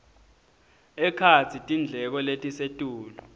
ekhatsi tindleko letisetulu